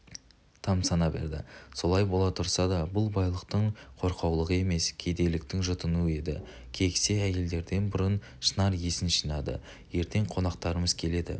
тамсана берді солай бола тұрса да бұл байлықтың қорқаулығы емес кедейліктің жұтынуы еді кексе әйелдерден бұрын шынар есін жинады ертең қонақтарымыз келеді